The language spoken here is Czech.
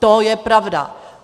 To je pravda.